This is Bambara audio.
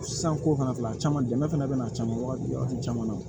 San ko fana filɛ a caman dɛmɛ a caman waati caman na